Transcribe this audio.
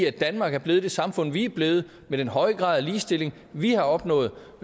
at danmark er blevet det samfund som det er blevet med den høje grad af ligestilling vi har opnået